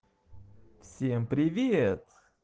всем привет